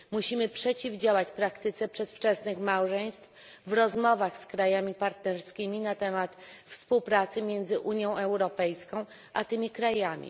Musimy przeciwdziałać praktyce przedwczesnych małżeństw w rozmowach z krajami partnerskimi na temat współpracy między Unią Europejską a tymi krajami.